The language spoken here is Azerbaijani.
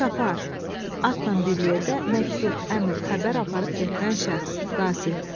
Çapar, atla bir yerdə məktub, əmr, xəbər aparıb gətirən şəxs, qasid.